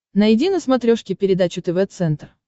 найди на смотрешке передачу тв центр